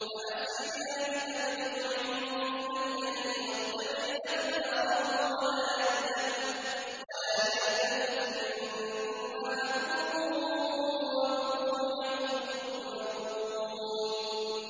فَأَسْرِ بِأَهْلِكَ بِقِطْعٍ مِّنَ اللَّيْلِ وَاتَّبِعْ أَدْبَارَهُمْ وَلَا يَلْتَفِتْ مِنكُمْ أَحَدٌ وَامْضُوا حَيْثُ تُؤْمَرُونَ